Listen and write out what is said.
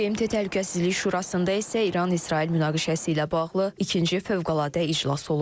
BMT Təhlükəsizlik Şurasında isə İran-İsrail münaqişəsi ilə bağlı ikinci fövqəladə iclas olub.